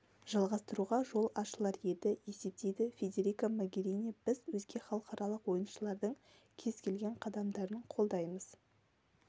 жалғастыруға жол ашылар еді есептейді федерика могерини біз өзге халықаралық ойыншылардың кез келген қадамдарын қолдаймыз